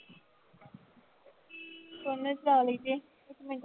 ਚਲਾ ਲਈ ਦੀ ਆ